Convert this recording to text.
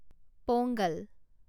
Pongal